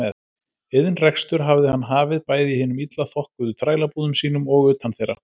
Iðnrekstur hafði hann hafið bæði í hinum illa þokkuðu þrælabúðum sínum og utan þeirra.